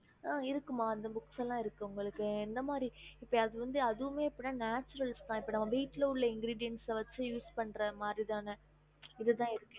இருக்குமா அந்தமாரி புக் இருக்கு உங்களுக்கு எந்த மாரி புக் வேணும் அதுவும் இப்ப Nature தா